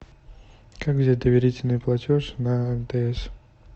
как взять доверительный платеж на мтс